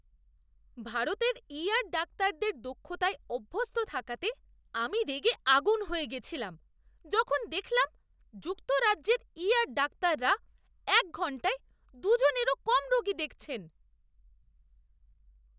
ভারতের ইআর ডাক্তারদের দক্ষতায় অভ্যস্ত থাকাতে আমি রেগে আগুন হয়ে গেছিলাম যখন দেখলাম যুক্তরাজ্যের ইআর ডাক্তাররা এক ঘণ্টায় দুজনেরও কম রোগী দেখছেন।